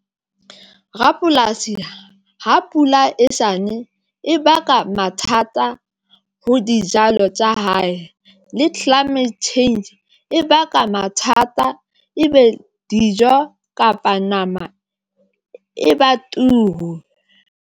Rapolasi ha pula e sane, e baka mathata ho dijalo tsa hae le climate change e baka mathata e be dijo kapa nama e ba turu.